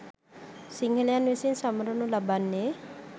සිංහලයන් විසින් සමරනු ලබන්නේ